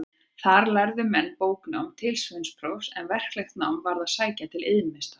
Þar lærðu menn bóknám til sveinsprófs, en verklegt nám varð að sækja til iðnmeistara.